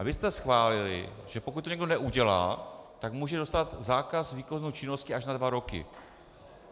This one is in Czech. A vy jste schválili, že pokud to někdo neudělá, tak může dostat zákaz výkonu činnosti až na dva roky.